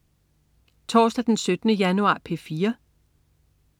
Torsdag den 17. januar - P4: